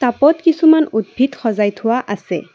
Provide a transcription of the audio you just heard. টাবত কিছুমান উদ্ভিদ সজাই থোৱা আছে।